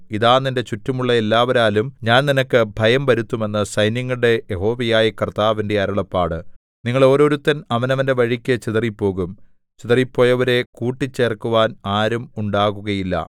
ഇതാ നിന്റെ ചുറ്റുമുള്ള എല്ലാവരാലും ഞാൻ നിനക്ക് ഭയം വരുത്തും എന്ന് സൈന്യങ്ങളുടെ യഹോവയായ കർത്താവിന്റെ അരുളപ്പാട് നിങ്ങൾ ഓരോരുത്തൻ അവനവന്റെ വഴിക്ക് ചിതറിപ്പോകും ചിതറിപ്പോയവരെ കൂട്ടിച്ചേർക്കുവാൻ ആരും ഉണ്ടാകുകയില്ല